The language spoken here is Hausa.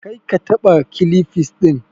Kar ka taɓa kilifs ɗin!